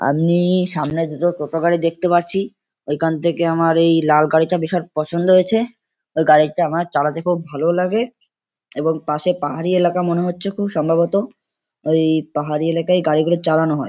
আমি সামনে দুটো টোটো গাড়ি দেখতে পারছি ওইখান থেকে আমার এই লাল গাড়িটা ভীষণ পছন্দ হয়েছে ওই গাড়িটা আমার চালাতে খুব ভালোও লাগে এবং পাশে পাহাড়ি এলাকা মনে হচ্ছে খুব সম্ভবত এই পাহাড়ি এলাকায় গাড়িগুলো চালানো হয়।